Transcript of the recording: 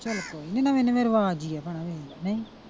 ਚਲ ਕੋਈ ਨੀ ਨਵੇਂ ਨਵੇਂ ਰਿਵਾਜ ਹੀ ਆ ਹੈਨਾ ਇਹ ਨਹੀਂ।